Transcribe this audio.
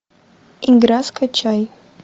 игра скачай